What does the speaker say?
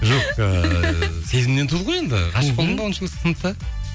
жоқ ыыы сезімнен туды ғой енді ғашық болдың ба оныншы сыныпта